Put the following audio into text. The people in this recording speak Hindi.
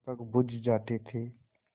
दीपक बुझ जाते थे